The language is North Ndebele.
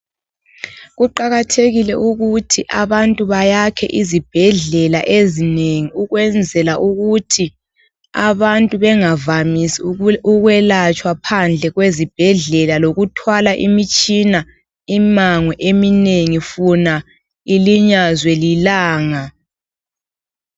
Kuqakathekile ukuthi abantu bayakhe izibhedlela ezinengi ukwenzela ukuthi ,abantu bengavamisi ukwelatshwa phandle kwezibhedla lokuthwala imitshina ,imango eminengi funa ilinyazwe lilanga